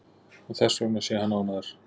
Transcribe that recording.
Og þessvegna sé hann ánægður